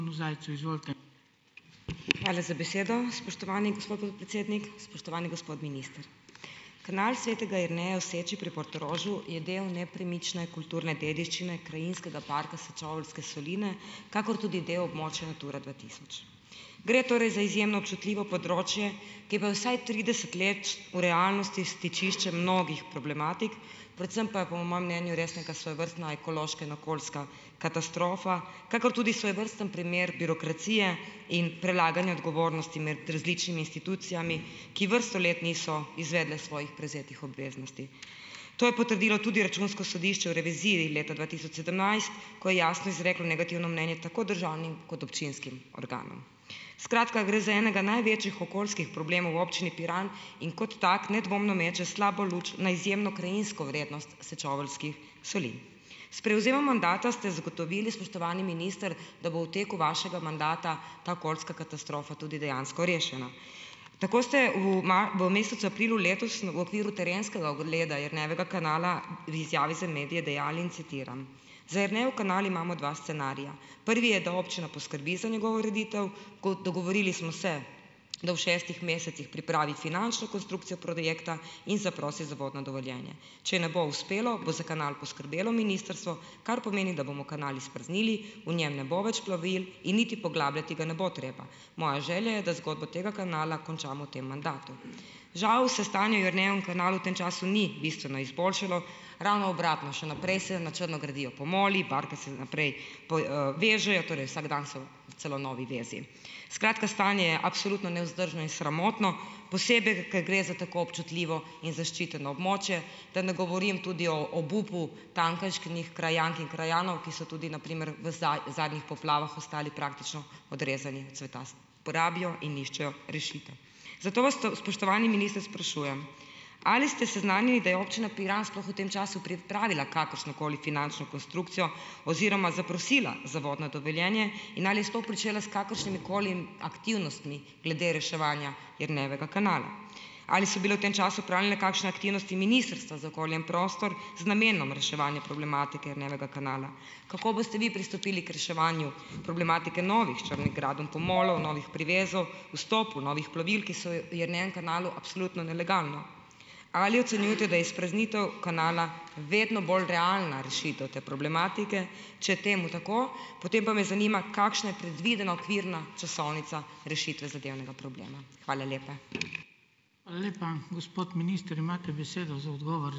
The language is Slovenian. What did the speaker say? Hvala za besedo, spoštovani gospod podpredsednik. Spoštovani gospod minister. Kanal Svetega Jerneja v Seči pri Portorožu je del nepremične kulturne dediščine Krajinskega parka Sečoveljske soline, kakor tudi del območja Natura dva tisoč. Gre torej za izjemno občutljivo področje, ki bo vsaj trideset let v realnosti stičišče mnogih problematik, predvsem pa, po mojem mnenju, res neka svojevrstna ekološka in okoljska katastrofa, kakor tudi svojevrsten primer birokracije in prelaganja odgovornosti med različnimi institucijami, ki vrsto let niso izvedle svojih prevzetih obveznosti. To je potrdilo tudi Računsko sodišče v reviziji leta dva tisoč sedemnajst, ko je jasno izreklo negativno mnenje tako državnim kot občinskim organom. Skratka, gre za enega največjih okoljskih problemov v občini Piran in kot tako nedvomno meče slabo luč na izjemno krajinsko vrednost Sečoveljskih solin. S prevzemom mandata ste zagotovili, spoštovani minister, da bo v teku vašega mandata ta okoljska katastrofa tudi dejansko rešena. Tako ste v v mesecu aprilu letos v okviru terenskega ogleda Jernejevega kanala v izjavi za medije dejali, in citiram: "Za Jernejev kanal imamo dva scenarija. Prvi je, da občina poskrbi za njegovo ureditev, kot dogovorili smo se, da ob šestih mesecih pripravi finančno konstrukcijo projekta in zaprosi za vodno dovoljenje. Če ne bo uspelo, bo za kanal poskrbelo ministrstvo, kar pomeni, da bomo kanal izpraznili, v njem ne bo več plovil in niti poglabljati ga ne bo treba. Moja želja je, da zgodbo tega kanala končamo v tem mandatu." Žal se stanje v Jernejevem kanalu ni bistveno izboljšalo, ravno obratno, še naprej se na črno gradijo pomoli, barke se naprej vežejo, torej vsak dan so celo novi vezi. Skratka, stanje je absolutno nevzdržno in sramotno, posebej ker gre za tako občutljivo in zaščiteno območje. Da ne govorim tudi o obupu tamkajšnjih krajank in krajanov, ki so tudi na primer v zadnjih poplavah ostali praktično odrezani od sveta. Porabijo in iščejo rešitev. Zato vas spoštovani minister sprašujem, ali ste seznanjeni, da je občina Piran sploh v tem času pripravila kakršno koli finančno konstrukcijo oziroma zaprosila za vodno dovoljenje in ali je sploh pričela s kakršnimi koli aktivnostmi glede reševanja Jernejevega kanala? Ali so bile v tem času opravljene kakšne aktivnosti Ministrstva za okolje in prostor z namenom reševanja problematike Jernejevega kanala? Kako boste vi pristopili k reševanju problematike novih črnih gradenj pomolov, novih privezov, vstopu novih plovil, ki so Jernejevem kanalu absolutno nelegalno? Ali ocenjujete, da je izpraznitev kanala vedno bolj realna rešitev te problematike, če temu tako, potem pa me zanima, kakšna je predvidena okvirna časovnica rešitve zadevnega problema? Hvala lepa.